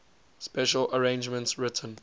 special arrangements written